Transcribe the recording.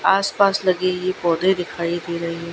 आस पास नदी गी बॉर्डर दिखाई दे रही है।